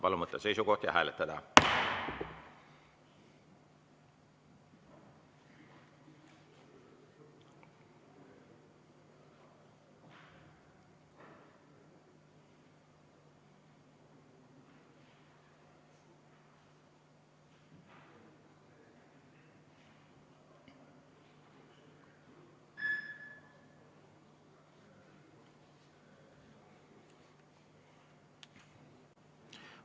Palun võtta seisukoht ja hääletada!